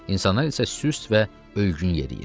İnsanlar isə süst və ölgün yeriyir.